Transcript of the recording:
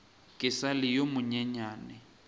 ke sa le yo monyenyane